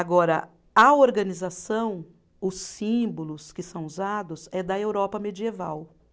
Agora, a organização, os símbolos que são usados, é da Europa medieval.